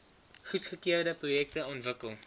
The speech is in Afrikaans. goedgekeurde projekte ontwikkel